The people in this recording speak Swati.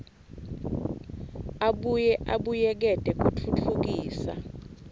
abuye abuyekete kutfutfukisa